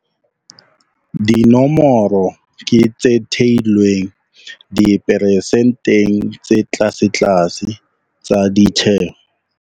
Dinomoro ke tse theilweng diperesenteng tse tlasetlase tsa ditjeho.